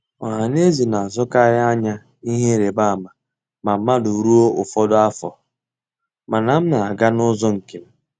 Ọhaneze na-atụkarị anya ihe ịrịbama ma mmadụ ruo ụfọdụ afọ, mana m na-aga n'ụzọ nke m.